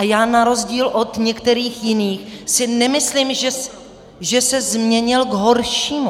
A já na rozdíl od některých jiných si nemyslím, že se změnil k horšímu.